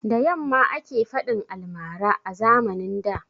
Da yamma ake faɗin almara a zamanin da